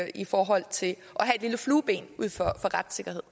i forhold til retssikkerhed